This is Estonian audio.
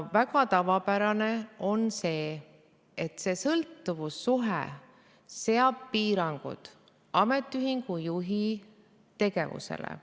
Väga tavapärane on see, et see sõltuvussuhe seab piirangud ametiühingu juhi tegevusele.